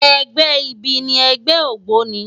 Ègbè ibi ni ègbè ógbóni